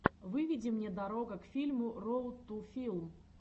выведи мне дорога к фильму роуд ту филм